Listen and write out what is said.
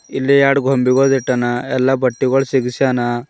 ಇಲ್ಲಿ ಎರಡು ಗೊಂಬೆಗಳು ಇಟ್ಟಾನ ಎಲ್ಲಾ ಬಟ್ಟೆಗಳು ಸಿಗಶ್ಯನ.